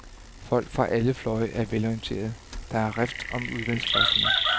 Folk fra alle fløje er velorienterede, der er rift om udvalgsposterne.